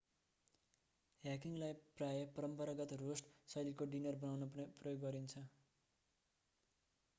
ह्याङ्गीलाई प्राय परम्परागत रोस्ट शैलीको डिनर बनाउन प्रयोग गरिन्छ